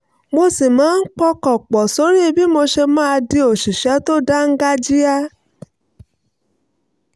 mo sì máa ń pọkàn pọ̀ sórí bí mo ṣe máa di òṣìṣẹ́ tó dáńgájíá